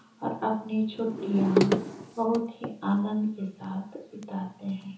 आप अपनी छुट्टियां बहुत ही आनंद के साथ बिताते है।